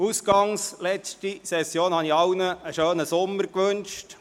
Ausgangs der letzten Session hatte ich allen einen schönen Sommer gewünscht.